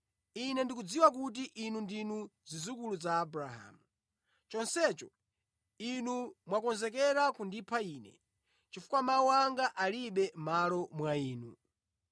Ine ndikudziwa kuti inu ndinu zidzukulu za Abrahamu. Chonsecho inu mwakonzeka kundipha Ine, chifukwa mawu anga alibe malo mwa inu.